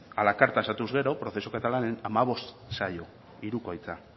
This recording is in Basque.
a la carta sartuz gero prozesu katalanen hamabost saio hirukoitza